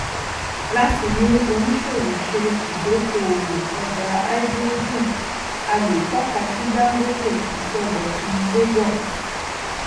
láti mú oníṣòwò ṣe idokóòwò ọjà háídírójìn a lè tọka sí dangote ìsọdọtun lagos